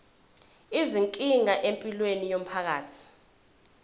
izinkinga empilweni yomphakathi